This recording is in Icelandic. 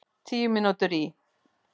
Tíu mínútur í